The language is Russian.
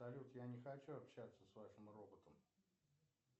салют я не хочу общаться с вашим роботом